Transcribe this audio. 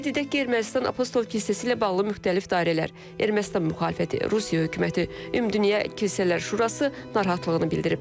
Qeyd edək ki, Ermənistan Apostol kilsəsi ilə bağlı müxtəlif dairələr Ermənistan müxalifəti, Rusiya hökuməti, Ümumdünya Kilsələr Şurası narahatlığını bildirib.